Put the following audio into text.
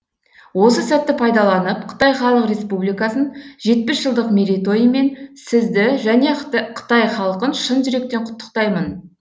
осы сәтті пайдаланып қытай халық республикасын жетпіс жылдық мерейтойымен сізді және қытай халқын шын жүректен құттықтаймын